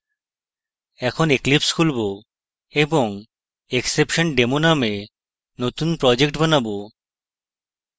এখন eclipse খুলব এবং exceptiondemo নামে নতুন project বানাবো